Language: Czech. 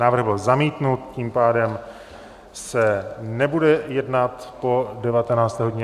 Návrh byl zamítnut, tím pádem se nebude jednat po 19. hodině.